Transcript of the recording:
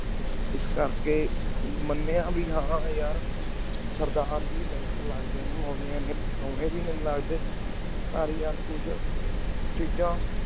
ਇਸ ਕੇਰ ਕੀ ਮਾਨ੍ਯ ਬੀ ਹਨ ਯਾਰ ਸਰਦਾਰ ਹੀ best ਲਾਗ ਦੀ ਨੀ ਮੋਨਿਯਾ ਦੀ ਸੋਨੀ ਵੀ ਨਾਈ ਲਾਗ ਦੀ ਪਰ ਯਾਰ ਤੁਸਾ ਚੀਜਾਂ